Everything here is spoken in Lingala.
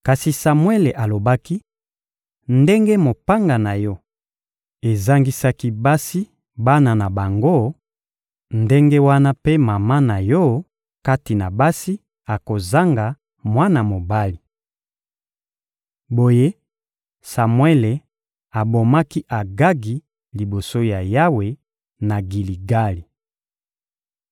Kasi Samuele alobaki: «Ndenge mopanga na yo ezangisaki basi bana na bango, ndenge wana mpe mama na yo, kati na basi, akozanga mwana mobali.» Boye, Samuele abomaki Agagi liboso ya Yawe, na Giligali.